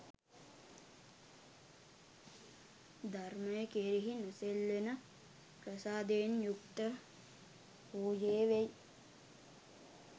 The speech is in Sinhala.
ධර්මය කෙරෙහි නොසෙල්වෙන ප්‍රසාදයෙන් යුක්ත වූයේ වෙයි.